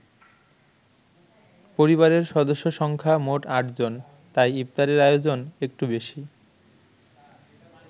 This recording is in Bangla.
পরিবারের সদস্য সংখ্যা মোট ৮জন- তাই ইফতারের আয়োজন একটু বেশি।